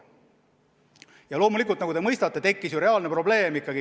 Ja loomulikult, nagu te mõistate, tekkis ikkagi reaalne probleem.